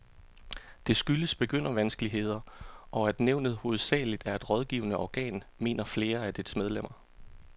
Det skyldes begyndervanskeligheder, og at nævnet hovedsageligt er et rådgivende organ, mener flere af dets medlemmer.